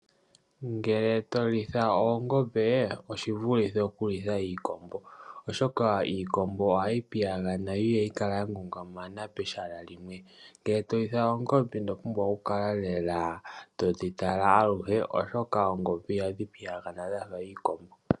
Ngele to litha oongombe oshivulithe okulitha iikombo, oshoka iikombo ohayi piyagana. Yo ihayi kala ya ngungumana pehala limwe. Ngele to litha oongombe ino pumbwa okukala lela todhitala aluhe, oshoka oongombe ihadhi piyagana lela dhafa iikombo.